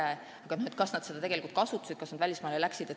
Ja pole teada, kas nad seda tegelikult kasutasid, kas nad tõesti välismaale läksid.